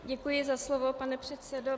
Děkuji za slovo, pane předsedo.